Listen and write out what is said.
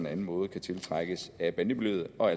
anden måde kan tiltrækkes af bandemiljøet og